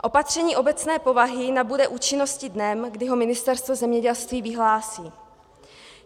Opatření obecné povahy nabude účinnosti dnem, kdy ho Ministerstvo zemědělství vyhlásí.